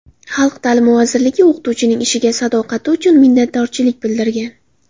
Xalq ta’limi vazirligi o‘qituvchining ishiga sadoqati uchun minnatdorchilik bildirgan.